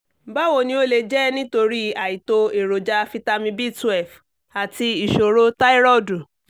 báwo ni ó lè jẹ́ nítorí àìtó èròjà fitami b twelve àti ìṣòro táírọ̀dù